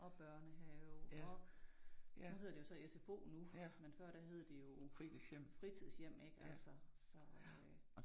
Og børnehave og nu hedder det jo så SFO nu men før der hed det jo fritidshjem ik altså så øh